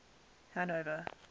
hanover